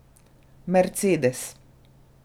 Mercedes.